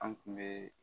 An kun be